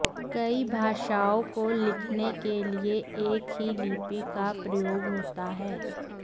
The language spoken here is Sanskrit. कई भाषाओं को लिखने के लिए एक ही लिपि का प्रयोग होता है